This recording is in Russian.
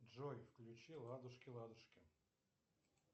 джой включи ладушки ладушки